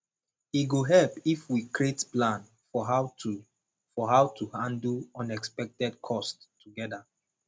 e go help if we create plan for how to for how to handle unexpected costs together